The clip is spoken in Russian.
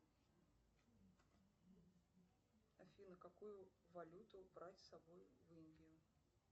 афина какую валюту брать с собой в индию